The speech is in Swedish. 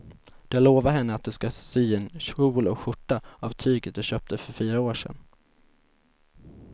Du har lovat henne att du ska sy en kjol och skjorta av tyget du köpte för fyra år sedan.